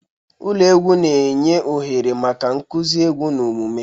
Ụlọ egwu na-enye ohere maka nkuzi egwu na omume.